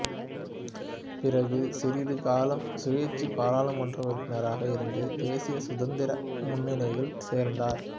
பிறகு சிறிது காலம் சுயேட்சை பாராளுமன்ற உறுப்பினராக இருந்து தேசிய சுதந்திர முன்னணியில் சேர்ந்தார்